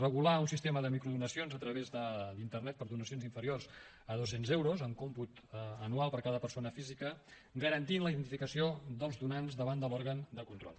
regular un sistema de microdonacions a través d’internet per a donacions inferiors a dos cents euros en còmput anual per a cada persona física garantint la identificació dels donants davant de l’òrgan de control